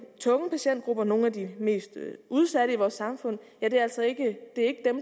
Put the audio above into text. tunge patientgrupper nogle af de mest udsatte i vores samfund altså ikke